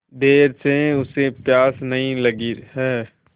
देर से उसे प्यास नहीं लगी हैं